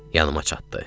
Yanıma çatdı.